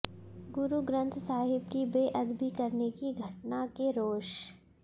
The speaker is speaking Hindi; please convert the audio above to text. गुरु ग्रंथ साहिब की बेअदबी करने की घटना के रोष